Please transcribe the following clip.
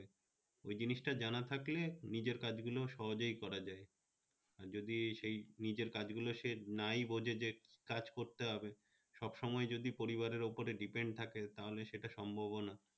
ওই জিনিসটা টা জানা থাকলে নিজের কাজগুলো সহজেই করা যাবে, যদি সেই নিজের কাজগুলো নিজে নাই বোঝে যে কাজ করতে হবে, সব সময় যদি পরিবারে উপরে depend থাকে তাহলে সেটা সম্ভব ও না